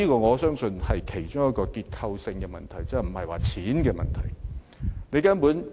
我相信這是一個結構性問題，而不是錢的問題。